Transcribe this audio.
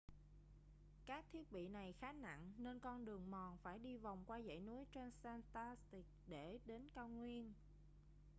các thiết bị này khá nặng nên con đường mòn phải đi vòng qua dãy núi transantarctic để đến cao nguyên